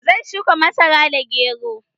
Zan shuka masara da gero